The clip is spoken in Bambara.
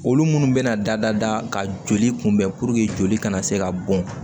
Olu munnu bɛna da ka joli kunbɛn joli kana se ka bɔn